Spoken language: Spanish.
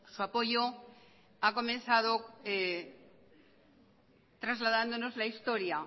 su apoyo ha comenzado trasladándonos la historia